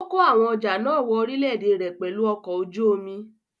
Ó kó àwọn ọjà náà wọ orílé-èdè rẹ̀ pẹ̀lú ọkọ̀ ojú omi.